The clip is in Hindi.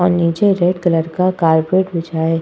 और नीचे रेड कलर का कार्पेट बिछाये --